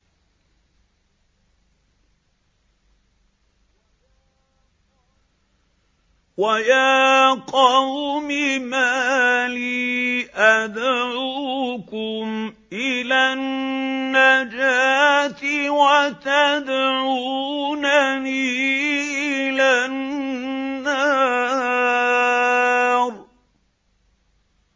۞ وَيَا قَوْمِ مَا لِي أَدْعُوكُمْ إِلَى النَّجَاةِ وَتَدْعُونَنِي إِلَى النَّارِ